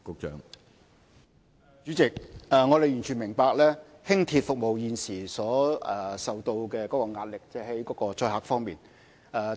主席，我們完全明白輕鐵服務現時所承受的載客壓力。